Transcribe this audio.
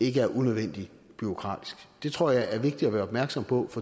ikke er unødvendig bureaukratisk det tror jeg er vigtigt at være opmærksom på for